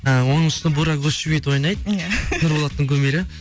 і оның үстіне бурак өзчивит ойнайды иә нұрболаттың кумирі